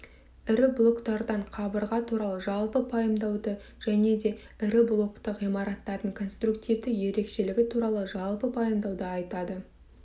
ірі блоктардан қабырға туралы жалпы пайымдауды және де ірі блокты ғимараттардың конструктивті ерекшелігі туралы жалпы пайымдауды айтады